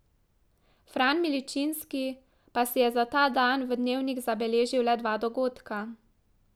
Fran Milčinski pa si je za ta dan v dnevnik zabeležil le dva dogodka.